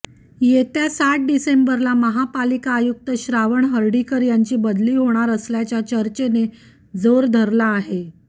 येत्या सात डिसेंबरला महापालिका आयुक्त श्रावण हर्डीकर यांची बदली होणार असल्याच्या चर्चेने जोर धरला आहे